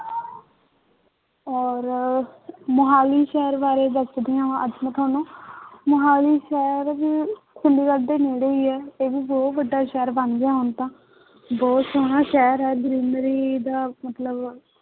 ਔਰ ਮੁਹਾਲੀ ਸ਼ਹਿਰ ਬਾਰੇ ਦੱਸਦੀ ਹਾਂ ਅੱਜ ਮੈਂ ਤੁਹਾਨੂੰ ਮੁਹਾਲੀ ਸ਼ਹਿਰ ਵੀ ਚੰਡੀਗੜ੍ਹ ਦੇ ਨੇੜ੍ਹੇ ਹੀ ਹੈ ਇਹ ਵੀ ਬਹੁਤ ਵੱਡਾ ਸ਼ਹਿਰ ਬਣ ਗਿਆ ਹੁਣ ਤਾਂ, ਬਹੁਤ ਸੋਹਣਾ ਸ਼ਹਿਰ ਹੈ greenery ਦਾ ਮਤਲਬ